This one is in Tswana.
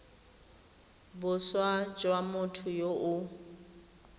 boswa jwa motho yo o